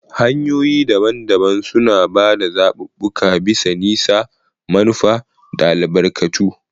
Hanyoyi daban-daban suna ba da zaɓuɓɓuka bisa nisa, manufa, da albarkatu.